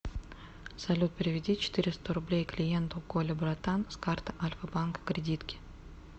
салют переведи четыреста рублей клиенту коля братан с карты альфа банка кредитки